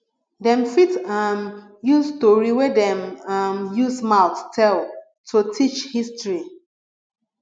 dem fit um use story wey dem um use mouth tell to teach history